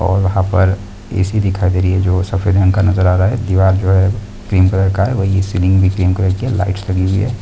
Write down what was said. और यहां पर एसी दिखाई दे रही है जो सफेद रंग का नजर आ रहा है दीवार जो है क्रीम कलर का है वही सिलींग लाईट्स लगी हुई है।